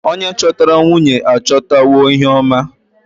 Onye chọtara nwunye achọtawo ihe oma.